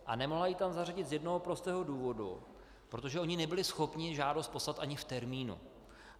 A nemohla ji tam zařadit z jednoho prostého důvodu - protože oni nebyli schopni žádost poslat ani v termínu.